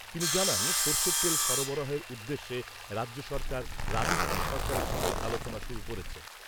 তিনি জানান, সর্ষের তেল সরবরাহের উদ্দেশ্যে রাজ্য সরকার রাজস্থান সরকারের সঙ্গে আলোচনা শুরু করেছে।